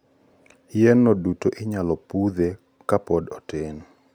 yien no duto inyalo pudhi kapod otin